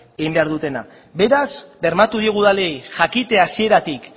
egin behar dutena beraz bermatu diegu udalei jakite hasieratik